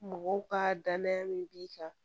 Mɔgɔw ka danaya min b'i kan